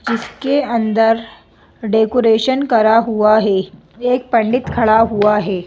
इसके अंदर डेकोरेशन करा हुआ हैं एक पंडित खड़ा हुआ हैं।